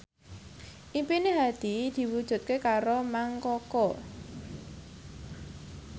impine Hadi diwujudke karo Mang Koko